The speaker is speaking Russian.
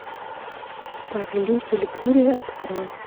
повелитель бури открой